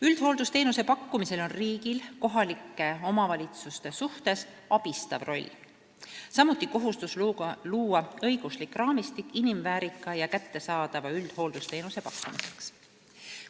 " Üldhooldusteenuse pakkumisel on riigil kohalike omavalitsuste suhtes abistav roll, samuti kohustus luua õiguslik raamistik inimväärika ja kättesaadava üldhooldusteenuse pakkumiseks.